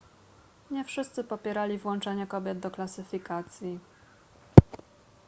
nie wszyscy popierali włączenie kobiet do klasyfikacji